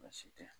Baasi tɛ